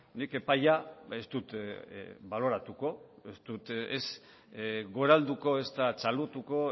nik epaia ez dut baloratuko ez dut ez goralduko ezta txalotuko